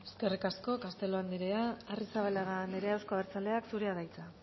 eskerrik asko castelo andrea arrizabalaga andrea euzko abertzaleak zurea da hitza